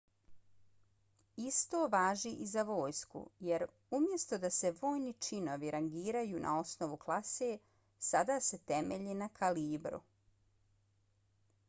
isto važi i za vojsku jer umjesto da se vojni činovi rangiraju na osnovu klase sada se temelje na kalibru